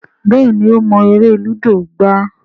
Béèni o mo èrè ludo gbà.